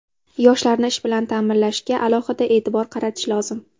Yoshlarni ish bilan ta’minlashga alohida e’tibor qaratish lozim.